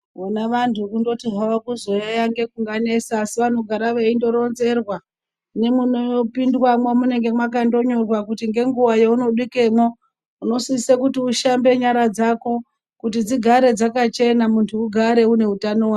Vona vantu kungoti havo kuzoyaiya ndokunovanesa asi vanogara veitoronzerwaa, nemunopindwaamo munee makandonyorwaa kuti nenguva yekunosvikemo unosisa kuti ushambe nyara dzako kuti dzigare dzakachena, muntu ugare une utano hwaka....